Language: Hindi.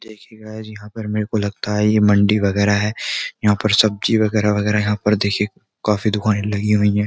देखिए गाइस यहाँ पर मेरे को लगता है ये मंडी वगैरह है यहाँ पर सब्जी वगैरह वगैरह यहाँ पर देखिए काफी दुकानें लगी हुई है।